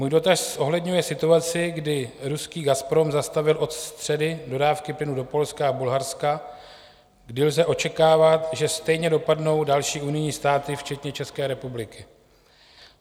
Můj dotaz zohledňuje situaci, kdy ruský Gazprom zastavil od středy dodávky plynu do Polska a Bulharska, kdy lze očekávat, že stejně dopadnou další unijní státy včetně České republiky.